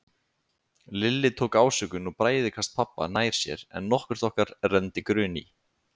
Lilli tók ásökun og bræðikast pabba nær sér en nokkurt okkar renndi grun í.